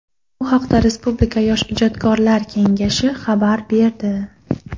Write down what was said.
Bu haqida Respublika yosh ijodkorlar kengashi xabar berdi.